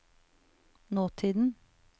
nåtiden